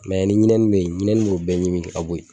Mɛ ni ɲinɛni bɛ yen ɲinɛni b'o bɛɛ ɲimi ka bɔ yen